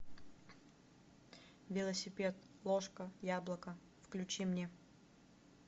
велосипед ложка яблоко включи мне